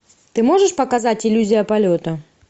ты можешь показать иллюзия полета